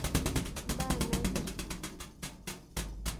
Mbaa naipirta.